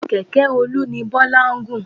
Kẹ̀kẹ́ Olu ni Bọ́lá gùn.